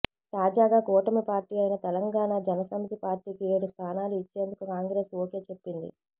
తాజాగా కూటమి పార్టీ అయిన తెలంగాణ జన సమితి పార్టీకి ఏడు స్థానాలు ఇచ్చేందుకు కాంగ్రెస్ ఓకే చెప్పింది